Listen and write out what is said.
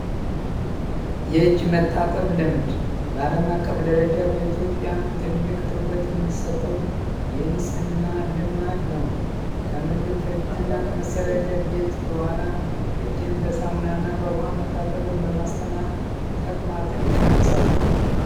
የእጅ መታጠብ ልምድ ባለም አቀፍ ደረጃ በኢትዮጵያም ትልቅ ትኩረት የሚሰጠው ይንጽህና ልማድ ነው ከምግብ በፊት እና ከመጸደረጃ ቤት በኋላ እጅን በሳሙና እና በውሃ መታጠብን በማስተማ ተቅማጥን ይቀንሳል፡፡